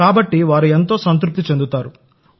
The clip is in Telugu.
కాబట్టి వారు సంతృప్తిగా ఉంటారు